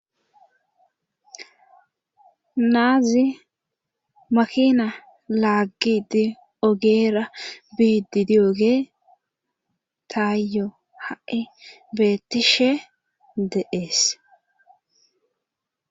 Naazi makina laaggidi ogeera biididiogee taayo ha'e beettishe deees.